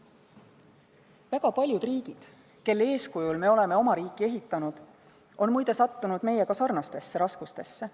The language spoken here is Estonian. Väga paljud riigid, kelle eeskujul me oleme oma riiki ehitanud, on sattunud meiega sarnastesse raskustesse.